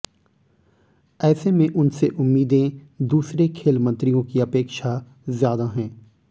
ऐसे में उनसे उम्मीदें दूसरे खेल मंत्रियों की अपेक्षा ज्यादा हैं